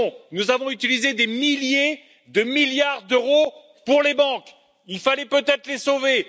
Nous avons utilisé des milliers de milliards d'euros pour les banques. Il fallait peut être les sauver.